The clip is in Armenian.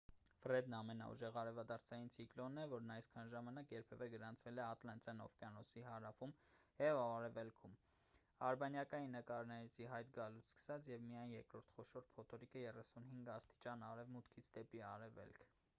ֆրեդն ամենաուժեղ արևադարձային ցիկլոնն է որն այսքան ժամանակ երբևէ գրանցվել է ատլանտյան օվկիանոսի հարավում և արևելքում ` արբանյակային նկարների ի հայտ գալուց սկսած և միայն երրորդ խոշոր փոթորիկը` 35° արևմուտքից դեպի արևելք։